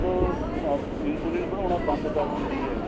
ਜਦੋ insulin ਬੰਦ ਕਰ ਦਿੰਦੀ ਏ